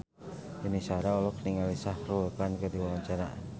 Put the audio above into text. Yuni Shara olohok ningali Shah Rukh Khan keur diwawancara